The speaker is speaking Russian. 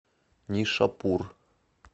нишапур